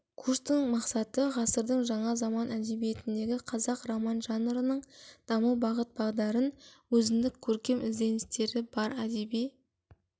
курстың мақсаты ғасырдың жаңа заман әдебиетіндегі қазақ роман жанрының даму бағыт-бағдарын өзіндік көркемдік ізденістері бар әдеби